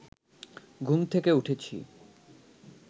ঘুম থেকে উঠেছি